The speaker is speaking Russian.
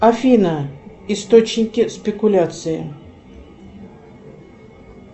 афина источники спекуляции